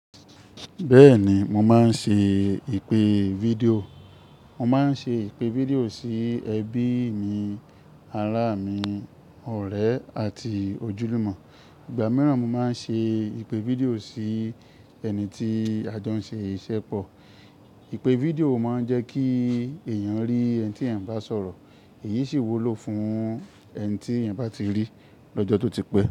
Bẹ́ẹ̀ni, mo máa ń ṣe ìpè fídíò. Mo máa ń ṣe ìpè fídíò sí ẹbí mi, ará mi, ọ̀rẹ́ àti ojúlùmọ̀. Ìgbà mìíràn mo máa ń ṣe ìpè fídíò sí ẹni tí a jọ ń ṣe iṣẹ́ pọ̀. Ìpè fídíò máa ń jẹ́ kí èèyàn rí ẹni tí ẹ̀ ń bá sọ̀rọ̀, èyí sì wúlò fún ẹni tí ẹ̀ ń bá ti rí lọ́jọ́ tó ti pẹ́